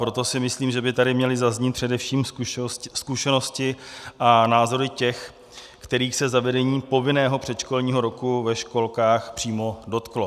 Proto si myslím, že by tady měly zaznít především zkušenosti a názory těch, kterých se zavedení povinného předškolního roku ve školkách přímo dotklo.